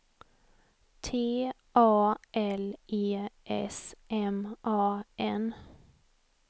T A L E S M A N